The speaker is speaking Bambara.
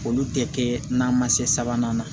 Olu tɛ kɛ na ma se sabanan na